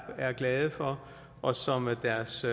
glade for og som deres